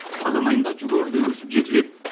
қазан айында жүгері де өсіп жетіледі